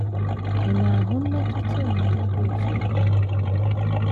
Ị̀ na - ahụ mmetụta omume dị otú ahụ na - enwe?